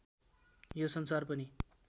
यो संसार पनि